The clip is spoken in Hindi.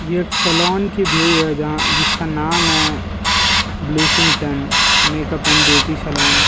एक सलोन की व्यू है जहां जिसका नाम है Blusington makeup and beauty salon --